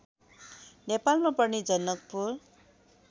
नेपालमा पर्ने जनकपुर